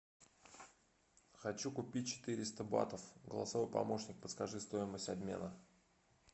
хочу купить четыреста батов голосовой помощник подскажи стоимость обмена